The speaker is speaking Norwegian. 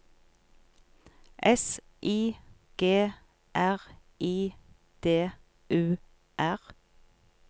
S I G R I D U R